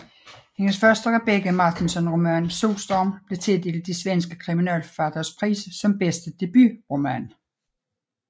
Hendes første Rebecka Martinsson roman Solstorm blev tildelt de svenske kriminalforfatteres pris som bedste debutroman